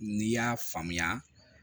N'i y'a faamuya